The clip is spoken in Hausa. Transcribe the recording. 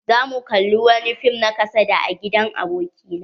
Za mu kalla wani fim na kasada a gidan aboki na.